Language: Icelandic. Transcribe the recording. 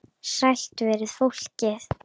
Sælt veri fólkið!